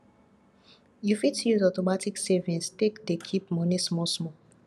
you fit use automatic savings take dey keep money small small